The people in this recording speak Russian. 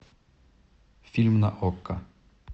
фильм на окко